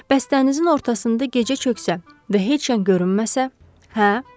Bəs dənizin ortasında gecə çöksə və heç yan görünməsə, hə?